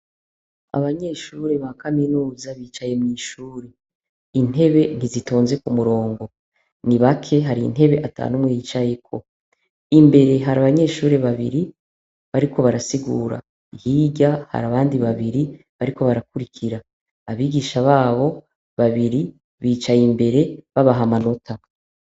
Abanyeshuri ba kaminuza, bicaye mw'ishuri, intebe ntizitonze ku murongo, ni bake, hari intebe ata n'umwe yicayeko, imbere hari abanyeshuri babiri bariko barasigura, hirya hari abandi babiri bariko barakurikira, abigisha babo babiri bicaye imbere babaha amanota.